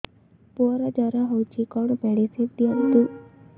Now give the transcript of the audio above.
ପୁଅର ଜର ହଉଛି କଣ ମେଡିସିନ ଦିଅନ୍ତୁ